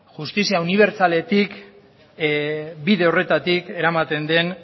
justizia unibertsaletik bide horretatik eramaten den